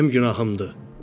Bu mənim günahımdır.